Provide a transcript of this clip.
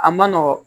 A ma nɔgɔ